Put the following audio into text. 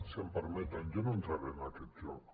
si em permeten jo no entraré en aquest joc